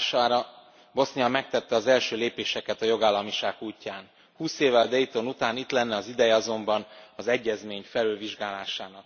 Hatására Bosznia megtette az első lépéseket a jogállamiság útján. 20 évvel Dayton után itt lenne az ideje azonban az egyezmény felülvizsgálásának.